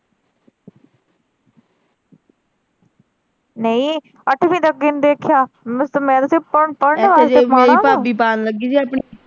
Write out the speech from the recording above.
ਨਹੀਂ ਅੱਠਵੀਂ ਤੋਂ ਅੱਗੇ ਨਹੀਂ ਦੇਖਿਆ ਮਾੜਾ ਵਾ।